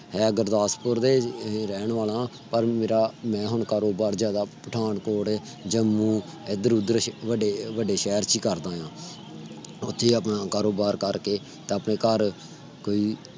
ਮੈਂ ਗੁਰਦਾਸਪੁਰ ਦੇ ਰਹਿਣ ਵਾਲਾਂ ਆ ਪਰ ਮੇਰਾ ਮੈਂ ਹੁਣ ਕਾਰੋਵਾਰ ਜਿਆਦਾ ਪਥਾਨਕੋਟ, ਜੰਮੂੰ ਐਧਰ- ਓਧਰ ਬਡੇ ਸ਼ਹਰ ਕਰਦਾ ਆ। ਓਥੇ ਹੀ ਆਪਣਾ ਕਾਰੋਵਾਰ ਕਰਕੇ। ਆਪਣੇ ਘਰ ਕਈ